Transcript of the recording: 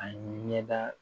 A ɲɛda